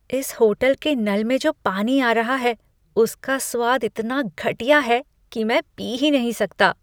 इस होटल के नल में जो पानी आ रहा है उसका स्वाद इतना घटिया है कि मैं पी ही नहीं सकता।